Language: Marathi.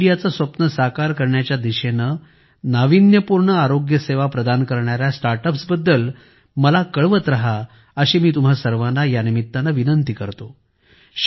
फिट इंडियाचे स्वप्न साकार करण्याच्या दिशेने नाविन्यपूर्ण आरोग्यसेवा प्रदान करणाऱ्या स्टार्टअप्सबद्दल मला कळवत राहा अशी मी तुम्हा सर्वांना विनंती करतो